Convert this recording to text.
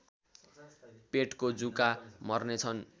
पेटको जुका मर्नेछन्